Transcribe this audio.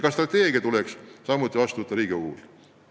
Ka strateegia tuleks heaks kiita Riigikogus.